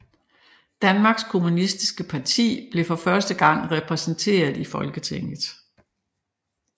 Danmarks Kommunistiske Parti bliver for første gang repræsenteret i Folketinget